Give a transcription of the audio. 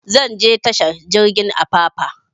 Zan je tashar jirgin apapa